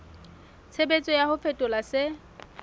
tshebetso ya ho fetola se